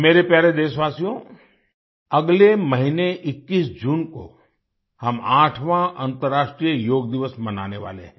मेरे प्यारे देशवासियो अगले महीने 21 जून को हम 8वाँ अन्तर्राष्ट्रीय योग दिवस मनाने वाले हैं